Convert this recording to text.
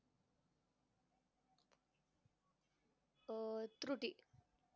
अं त्रुटी